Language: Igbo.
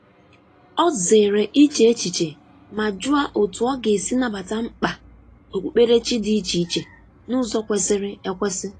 Ọ zere iche echiche ma jụọ otú ọ ga-esi nabata mkpa okpukperechi dị iche iche n’ụzọ kwesịrị ekwesị.